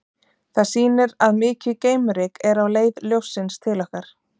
Það sýnir að mikið geimryk er á leið ljóssins til okkar.